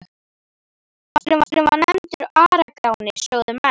Hesturinn var nefndur Ara-Gráni, sögðu menn.